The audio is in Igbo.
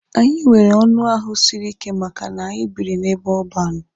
Anyị nwere ọnụ ahụ siri ike maka na anyị biri n'ebe ọban.